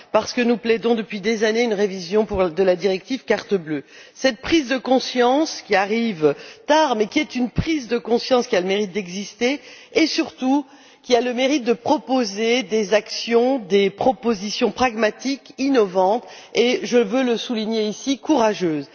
Parce que nous plaidons depuis des années pour une révision de la directive carte bleue. Cette prise de conscience, qui arrive tard, est une prise de conscience qui a le mérite d'exister et, surtout, de proposer des actions, de formuler des propositions pragmatiques innovantes et je veux le souligner ici courageuses.